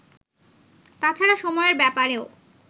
তাছাড়া সময়ের ব্যাপারেও